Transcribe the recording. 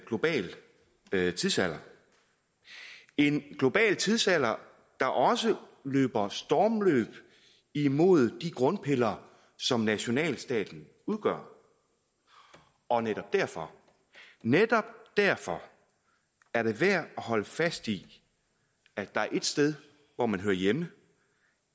global tidsalder en global tidsalder der også løber stormløb imod de grundpiller som nationalstaten udgør og netop derfor netop derfor er det værd at holde fast i at der er ét sted hvor man hører hjemme